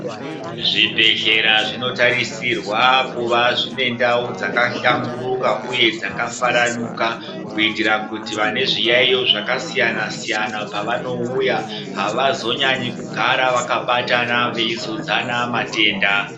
Zvibhedhlera zvinotarisirwa kuva zviinendau dzakahlamburuka uye dzakafaranuka kuitira kuti vane zviyaiyo zvakasiyana-siyana pavanouya havazonyanyi kugara vakabatana veuzodzana matenda.